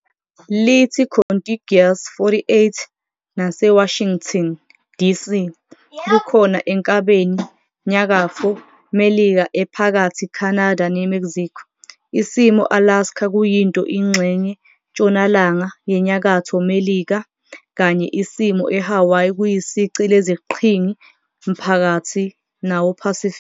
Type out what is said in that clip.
Lithi contiguous 48 naseWashington, DC, kukhona enkabeni Nyakatfo Melika ephakathi Canada ne Mexico. Isimo Alaska kuyinto ingxenye ntshonalanga yeNyakatho Melika kanye isimo eHawaii kuyisici leziqhingi maphakathi nawo-Pacific.